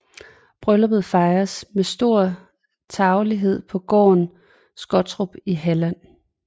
Brylluppet fejredes med stor tarvelighed på gården Skottorp i Halland